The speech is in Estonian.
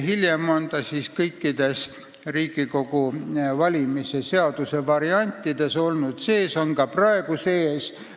Hiljem on see kõikides Riigikogu valimise seaduse variantides sees olnud ja on ka praegu seal sees.